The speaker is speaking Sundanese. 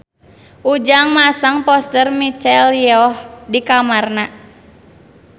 Ujang masang poster Michelle Yeoh di kamarna